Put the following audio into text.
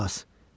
Qulaq as.